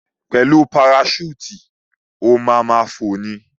Pẹ̀lú paraṣúùtì, o ma ma fò ni.